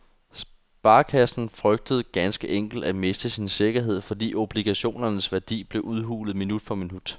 Sparekassen frygtede ganske enkelt at miste sin sikkerhed, fordi obligationernes værdi blev udhulet minut for minut.